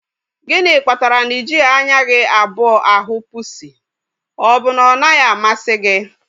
Gịnị kpatara na ị jighị anya gị abụọ ahụ pusi? Ọ bụ na ọ naghị amasị gị?